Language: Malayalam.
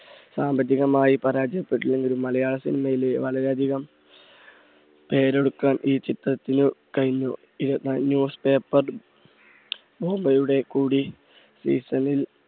സാമ്പത്തികമായി പരാജയപ്പെട്ടുവെങ്കിലും. മലയാള cinema യിലെ വളരെ അധികം പേരെടുക്കാൻ ഈ ചിത്രത്തിന് കഴിഞ്ഞു. കൂടി